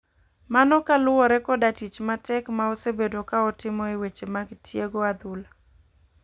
mano kaluwore koda tich matek ma osebedo ka otimo e weche mag tiego adhula.